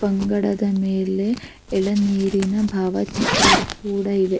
ಬಂಗಡದ ಮೇಲೆ ಎಲೆ ನೀರಿನ ಬಾವ ಚಿತ್ರ ಕೂಡ ಇವೆ --